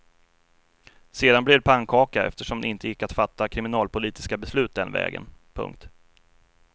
Sedan blev det pannkaka eftersom det inte gick att fatta kriminalpolitiska beslut den vägen. punkt